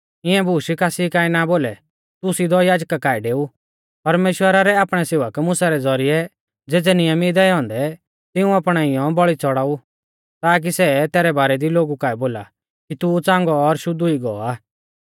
इऐं बूश कासी काऐ ना बोलै तू सिधौ याजका काऐ डेऊ परमेश्‍वरा रै आपणै सेवक मुसा रै ज़ौरिऐ ज़ेज़ै नियम ई दैऔ औन्दै तिऊं अपणाईयौ बौल़ी च़ौड़ाऊ ताकी सै तैरै बारै दी लोगु काऐ बोला कि तू च़ांगौ और शुद्ध हुई गौ आ